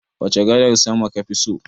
Wace gadar sama kafi so?